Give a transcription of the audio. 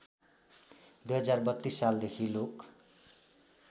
२०३२ सालदेखि लोक